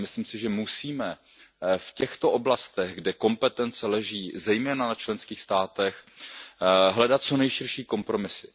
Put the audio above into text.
Ale myslím si, že musíme v těchto oblastech, kde kompetence leží zejména na členských státech, hledat co nejširší kompromisy.